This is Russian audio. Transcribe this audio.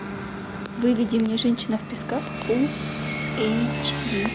выведи мне женщина в песках фулл эйч ди